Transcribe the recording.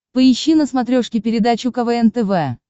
поищи на смотрешке передачу квн тв